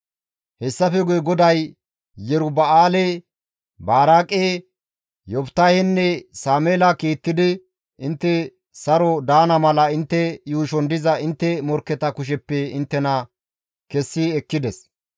Hessafe guye GODAY Yeruba7aale, Baraaqe, Yoftahenne Sameela kiittidi intte saron daana mala intte yuushon diza intte morkketa kusheppe inttena kessi ekkides.